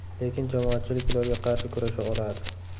Lekin jamoatchilik ularga qarshi kurasha oladi.